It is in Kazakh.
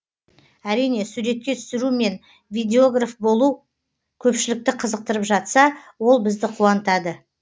әрине суретке түсіру мен видеограф болу көпшілікті қызықтырып жатса ол бізді қуантады